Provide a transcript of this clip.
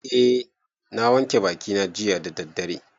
Eh, na wanke bakina jiya da daddare